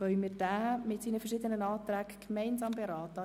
Können wir diesen mit seinen verschiedenen Anträgen gemeinsam beraten?